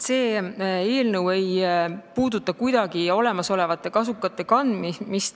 See eelnõu ei puuduta kuidagi olemasolevate kasukate kandmist.